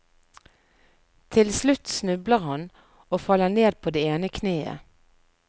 Til slutt snubler han og faller ned på det ene kneet.